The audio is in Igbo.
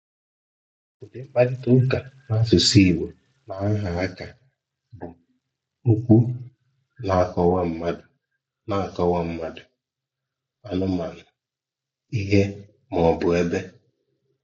Udi Mkparịta ụka N'asụsụ Igbo \nAha Aka bụ okwu na-akọwa mmadụ, na-akọwa mmadụ, anụmanụ, ihe, maọbụ ebe.